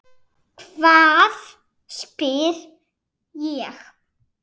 Hvað? spyr ég.